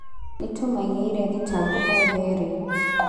"Nĩtũmaigĩire thitango othe erĩ"